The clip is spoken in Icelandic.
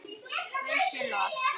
Guði sé lof.